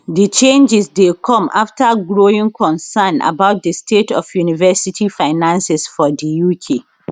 di changes dey come afta growing concerns about di state of university finances for di uk